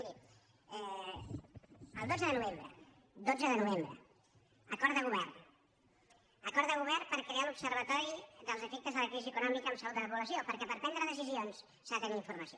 miri el dotze de novembre dotze de novembre acord de govern acord de govern per crear l’observatori dels efectes de la crisi econòmica en la salut de la població perquè per prendre decisions s’ha de tenir informació